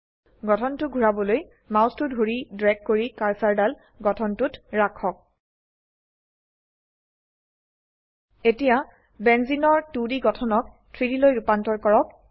গঠনটো ঘোৰাবলৈ মাউসটো ধৰি ড্ৰেগ কৰি কাৰ্চাৰ দাল গঠনটতোত ৰাখক এতিয়া বেঞ্জেনে এৰ 2ডি গঠনক 3Dলৈ ৰুপান্তৰ কৰক